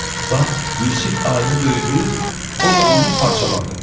Bax, Yusif ayını döydü, o da onu parçaladı.